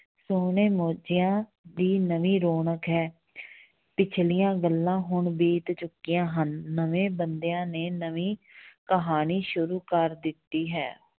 ਸੋਹਣੇ ਮੋਜ਼ਿਆਂ ਦੀ ਨਵੀਂ ਰੌਣਕ ਹੈ ਪਿੱਛਲੀਆਂ ਗੱਲਾਂ ਹੁਣ ਬੀਤ ਚੁੱਕੀਆਂ ਹਨ ਨਵੇਂ ਬੰਦਿਆਂ ਨੇ ਨਵੀਂ ਕਹਾਣੀ ਸ਼ੁਰੀ ਕਰ ਦਿੱਤੀ ਹੈ।